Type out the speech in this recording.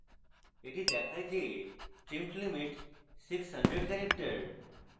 এটি দেখায় যে trimmed limit: 600 characters